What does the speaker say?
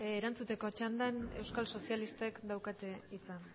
erantzuteko txandan euskal sozialistek daukate hitza